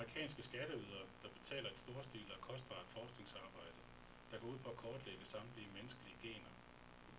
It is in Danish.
Det er også de amerikanske skatteydere, der betaler et storstilet og kostbart forskningsarbejde, der går ud på at kortlægge samtlige menneskelige gener.